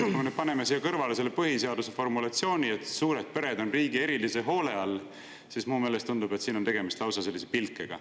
Kui me paneme siia kõrvale põhiseaduse formulatsiooni, et suured pered on riigi erilise hoole all, siis mulle tundub, et siin on tegemist lausa pilkega.